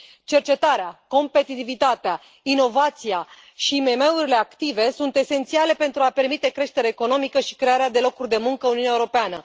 Cercetarea, competitivitatea, inovația și IMM urile active sunt esențiale pentru a permite creșterea economică și crearea de locuri de muncă în Uniunea Europeană.